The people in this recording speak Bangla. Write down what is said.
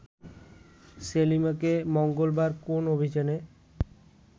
সেলিমাকে মঙ্গলবার কোন অভিযোগে